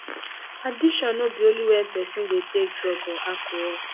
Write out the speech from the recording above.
addiction no be only when person dey take drug or alcohol